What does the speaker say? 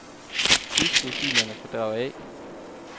Udskriv filerne fra drev A.